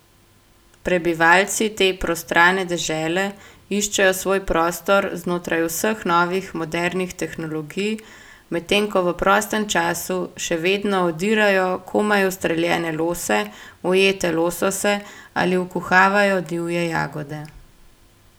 Prebivalci te prostrane dežele iščejo svoj prostor znotraj vseh novih modernih tehnologij, medtem ko v prostem času še vedno odirajo komaj ustreljene lose, ujete losose ali vkuhavajo divje jagode.